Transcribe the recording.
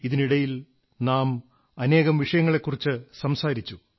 ഇതിനിടയിൽ നാം അനേകം വിഷയങ്ങളെക്കുറിച്ചു സംസാരിച്ചു